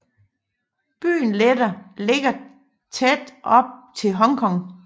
Byen ligger tæt op til Hongkong